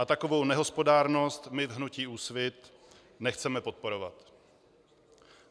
A takovou nehospodárnost my v hnutí Úsvit nechceme podporovat.